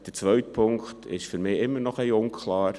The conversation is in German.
Der zweite Punkt ist für mich immer noch ein wenig unklar.